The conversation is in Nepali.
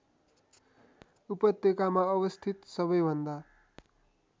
उपत्यकामा अवस्थित सबैभन्दा